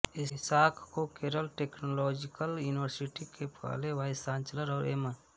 Isaac को Kerala technological university के पहले वाइसचांसलर और एम